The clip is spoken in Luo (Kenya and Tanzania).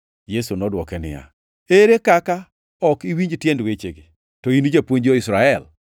Yesu nodwoke niya, “Ere kaka ok iwinj tiend wechegi, to in japuonj jo-Israel?